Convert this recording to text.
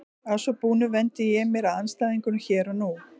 Að svo búnu vendi ég mér að andstæðingunum hér og nú.